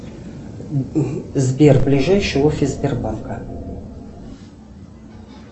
сбер ближайший офис сбербанка